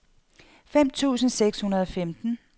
femten tusind seks hundrede og femten